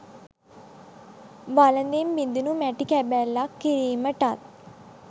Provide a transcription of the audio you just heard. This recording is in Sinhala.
වළඳෙන් බිඳිනු මැටි කැබැල්ලක් කිරීමටත්